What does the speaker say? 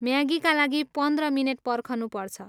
म्यागीका लागि पन्ध्र मिनेट पर्खनुपर्छ।